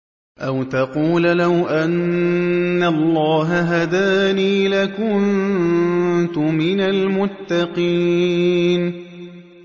أَوْ تَقُولَ لَوْ أَنَّ اللَّهَ هَدَانِي لَكُنتُ مِنَ الْمُتَّقِينَ